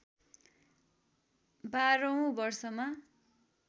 १२ औं वर्षमा